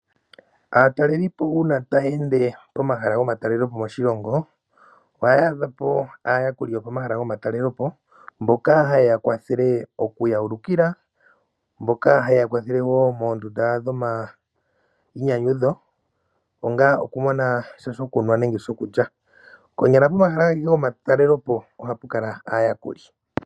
Aatalelipo uuna ta ya ende pomahala gomatelelepo moshilongo oha ya adhapo aayakuli mboka ha ye yawulukile nkene omahala geli, noku yakwathela woo moondunda ye ya pe sha shokulya nenge shokunwa uuna ya landa.